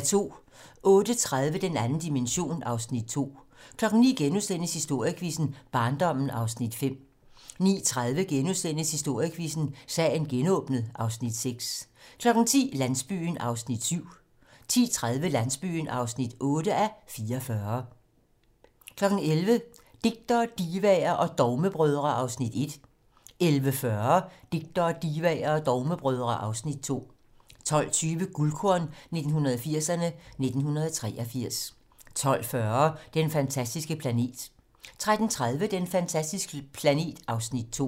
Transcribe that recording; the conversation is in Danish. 08:30: Den 2. dimension (Afs. 2) 09:00: Historiequizzen: Barndommen (Afs. 5)* 09:30: Historiequizzen: Sagen genåbnet (Afs. 6)* 10:00: Landsbyen (7:44) 10:30: Landsbyen (8:44) 11:00: Digtere, divaer og dogmebrødre (Afs. 1) 11:40: Digtere, Divaer og Dogmebrødre (Afs. 2) 12:20: Guldkorn 1980'erne: 1983 12:40: Den fantastiske planet 13:30: Den fantastiske planet (Afs. 2)